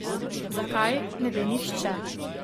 Zakaj, ne ve nihče.